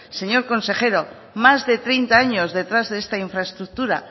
señor consejero más de treinta años detrás de esta infraestructura